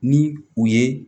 Ni u ye